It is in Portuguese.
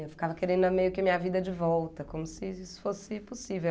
Eu ficava querendo meio que a minha vida de volta, como se isso fosse possível.